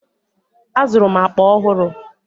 Azụrụ m akpa ọhụrụ.